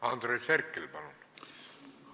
Andres Herkel, palun!